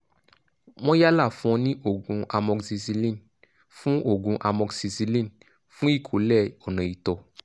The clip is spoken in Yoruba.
wọ́n yálà fún ọ ní òògùn amoxicillin fún òògùn amoxicillin fún ìkọ̀lé ọ̀nà ìtọ̀